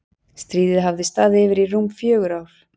Stríðið hafði staðið yfir í rúm fjögur ár.